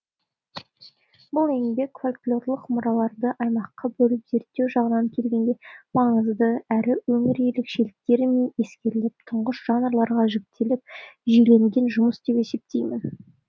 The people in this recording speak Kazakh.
бұл еңбек фольклорлық мұраларды аймаққа бөліп зерттеу жағынан келгенде маңызды әрі өңір ерекшеліктері ескеріліп тұңғыш жанрларға жіктеліп жүйеленген жұмыс деп есептеймін